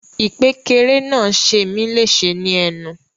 Ìkpékeré náà ṣe mi leṣe ni ẹnu.